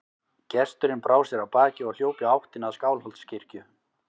Gesturinn brá sér af baki og hljóp í áttina að Skálholtskirkju.